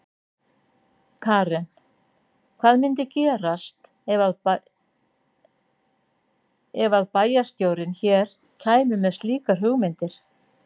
Karen: Hvað myndi gerast ef að bæjarstjórinn hér kæmi með slíkar hugmyndir?